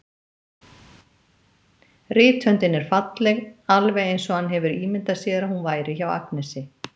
Rithöndin er falleg, alveg eins og hann hefur ímyndað sér að hún væri hjá Agnesi.